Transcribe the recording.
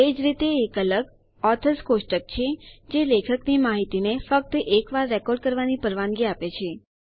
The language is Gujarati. એજ રીતે એક અલગ ઓથર્સ કોષ્ટક હોવું એ લેખકની માહિતીને ફક્ત એક વાર રેકોર્ડ કરવાની પરવાનગી આપે છે